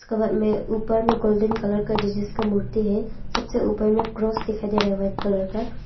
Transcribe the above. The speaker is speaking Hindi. कवर में ऊपर में गोल्डन कलर का जीसस का मूर्ति है सबसे ऊपर में क्रॉस दिखाई दे रहा है वाइट कलर का।